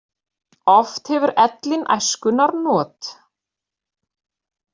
Oft hefur ellin æskunnar not.